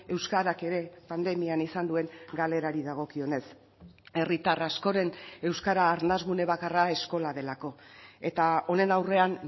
euskarak ere pandemian izan duen galerari dagokionez herritar askoren euskara arnas gune bakarra eskola delako eta honen aurrean